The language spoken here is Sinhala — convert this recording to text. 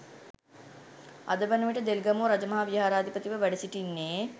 අද වන විට දෙල්ගමුව රජමහා විහාරාධිපතිව වැඩ සිටින්නේ